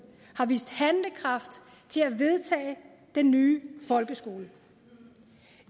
har vist handlekraft til at vedtage den nye folkeskole